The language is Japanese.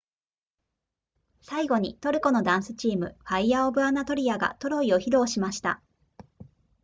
最後にトルコのダンスチームファイヤーオブアナトリアがトロイを披露しました